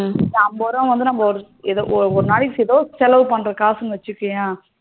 இந்த அம்பது ரூபா ஏதோ ஒரு நாளைக்கு எதோ செலவு பண்ற காசுனு வச்சுக்கோயேன்